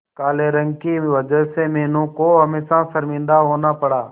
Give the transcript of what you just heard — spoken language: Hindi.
काले रंग की वजह से मीनू को हमेशा शर्मिंदा होना पड़ा